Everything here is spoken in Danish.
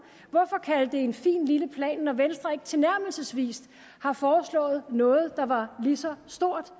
hvorfor kalde det en fin lille plan når venstre ikke tilnærmelsesvis har foreslået noget der var lige så stort